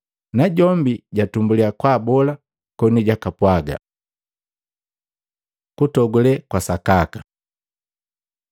najombi jatumbuliya kwaabola, koni jupwaga. Kutogule kwa sakaka Luka 6:20-23